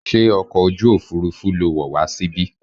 Ṣé ọkọ̀ ojú òfurufú lo wọ̀ wá síbí?